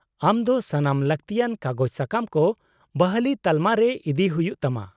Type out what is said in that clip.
-ᱟᱢ ᱫᱚ ᱥᱟᱱᱟᱢ ᱞᱟᱹᱠᱛᱤᱭᱟᱱ ᱠᱟᱜᱚᱡᱽᱼᱥᱟᱠᱟᱢ ᱠᱚ ᱵᱟᱹᱦᱞᱤ ᱛᱟᱞᱢᱟ ᱨᱮ ᱤᱫᱤᱭ ᱦᱩᱭᱩᱜ ᱛᱟᱢᱟ ᱾